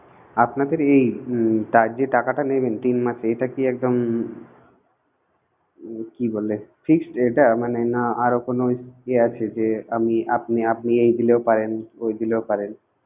আপনাদের এই যে টাকাটা টাকাটা নেবেন তিন মাসে এটা কি একদম কি বলে fixed এটা মানে না আরো কোনো এ আছে যে আমি আপনি আপনি এই দিলেও পারেন ওই দিলেও পারেন.